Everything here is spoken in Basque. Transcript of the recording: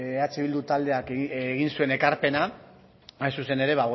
eh bildu taldeak egin zuen ekarpena hain zuzen ere